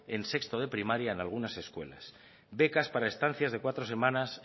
en sexto de primaria en algunas escuelas becas para estancias de cuatro semanas